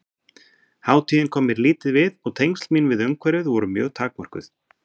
Hátíðin kom mér lítið við og tengsl mín við umhverfið voru mjög takmörkuð.